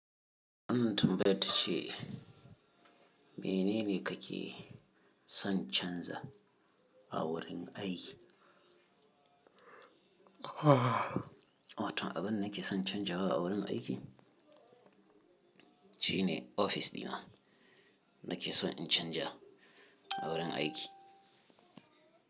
Wannan tambaye ta ce “Menene kake son canza a wurin aiki?” Abinda nake son canjawa a wurin aiki shine ofis dina nake so in canja a wurin aiki.